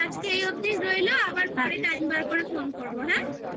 তাহলে আজকে এই অবধি রইলো আবার পরে time বার করে phone ফোন করবো হ্যাঁ